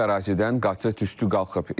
Ərazidən qatı tüstü qalxıb.